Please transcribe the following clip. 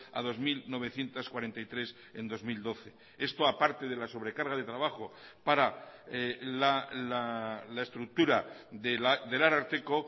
a dos mil novecientos cuarenta y tres en dos mil doce esto aparte de la sobrecarga de trabajo para la estructura del ararteko